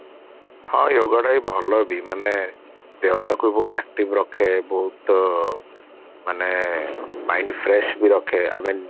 ହଁ yoga ଟା ବି ଭଲ ବି ମାନେ ଦେହଟାକୁ ବି ବହୁତ active ରଖେ ବହୁତ ମାନେ mind fresh ବି ରଖେ even